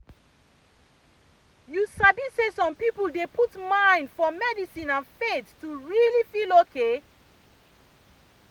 you sabi say some people dey put mind for medicine and faith to really feel okay.